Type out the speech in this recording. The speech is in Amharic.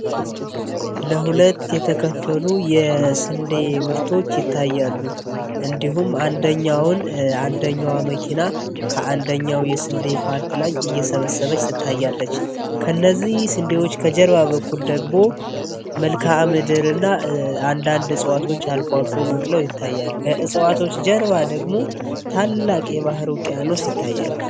ለሁለት የተከፈሉ የስንዴ ምርቶች ይታያሉ። እንዲሁም ን አንደኛዋ መኪና ከአንደኛው የስንዴ ፖርት ላይ እየሰበሰበች ትታያለች። ከነዚህ ስንዴዎች ከጀርባ በኩል ደግቦ መልካአ ምድር እና አንዳንድ እጽዋቶች አልፎልፎ በቅለው ይታያልሉ። ከእጽዋቶች ጀርባ ደግሞ ታላቅ የባህር ቅያኖ ሲይታያል።